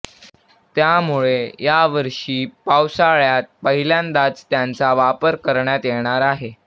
त्यामुळे या वर्षी पावसाळ्यात पहिल्यांदाच त्यांचा वापर करण्यात येणार आहे